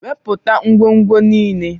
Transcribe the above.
Wepụta ngwongwo niile!